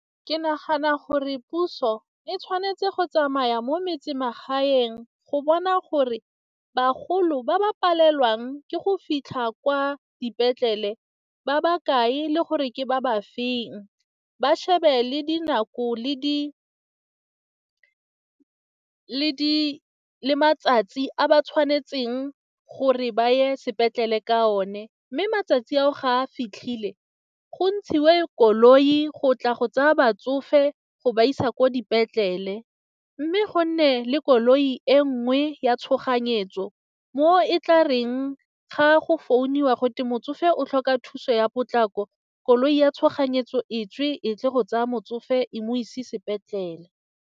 Ke nagana gore puso e tshwanetse go tsamaya mo metsemagaeng go bona gore bagolo ba ba palelwang ke go fitlha kwa dipetlele ba bakae le gore ke ba ba feng ba shebe le dinako le matsatsi a ba tshwanetseng gore ba ye sepetlele ka one mme matsatsi ao ga a fitlhile go ntshiwe koloi go tla go tsaya batsofe go ba isa ko dipetlele mme go nne le koloi e nngwe ya tshoganyetso mo e tla gareng ga go founiwa go te motsofe o tlhoka thuso ya potlako koloi ya tshoganyetso e tswe e tle go tsaya motsofe e mo ise sepetlele.